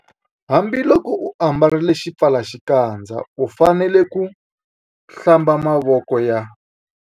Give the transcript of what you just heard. Hambiloko u ambarile xipfalaxikandza u fanele ku- Hlamba mavoko ya.